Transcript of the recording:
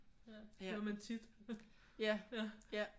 Ja